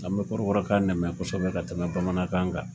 An bɛ Kɔrɔbɔrɔ kan de mɛn koɛsɛbɛ ka tɛmɛ Bamanankan kan kan.